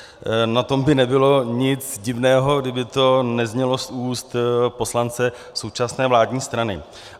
Na tom by nebylo nic divného, kdyby to neznělo z úst poslance současné vládní strany.